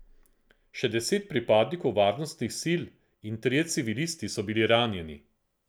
Še deset pripadnikov varnostnih sil in trije civilisti so bili ranjenih.